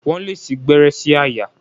Wọ́n lè sí gbẹ́rẹ́ sí àyà.